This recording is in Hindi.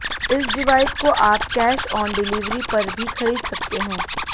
इस डिवाइस को आप कैश ऑन डिलीवरी पर भी खरीद सकते हैं